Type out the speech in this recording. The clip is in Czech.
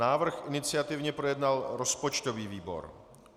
Návrh iniciativně projednal rozpočtový výbor.